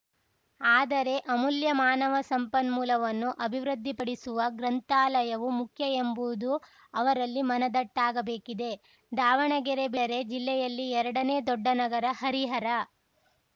ಆದರೆ ಅಮೂಲ್ಯ ಮಾನವ ಸಂಪನ್ಮೂಲವನ್ನು ಅಭಿವೃದ್ಧಿ ಪಡಿಸುವ ಗ್ರಂಥಾಲಯವೂ ಮುಖ್ಯ ಎಂಬುದು ಅವರಲ್ಲಿ ಮನದಟ್ಟಾಗಬೇಕಿದೆ ದಾವಣಗೆರೆ ಬಿಟ್ಟರೆ ಜಿಲ್ಲೆಯಲ್ಲಿ ಎರಡನೇ ದೊಡ್ಡ ನಗರ ಹರಿಹರ